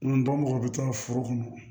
mɔgɔ bɛ to foro kɔnɔ